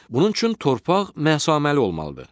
Bunun üçün torpaq məsaməli olmalıdır.